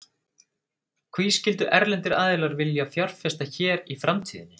Hví skyldu erlendir aðilar vilja fjárfesta hér í framtíðinni?